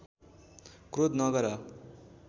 क्रोध नगर